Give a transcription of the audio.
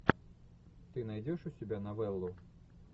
ты найдешь у себя новеллу